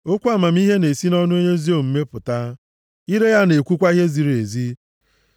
Okwu amamihe na-esi nʼọnụ onye ezi omume pụta, ire ya na-ekwukwa ihe ziri ezi.